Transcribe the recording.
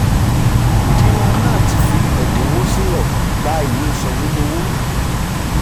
dina nath fi ẹ̀dínwó sílẹ̀ gba ìwé sọ̀wédowó.